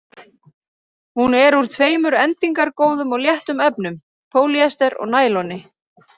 Hún er úr tveimur endingargóðum og léttum efnum: pólýester og næloni.